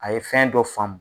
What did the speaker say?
A ye fɛn dɔ faamu.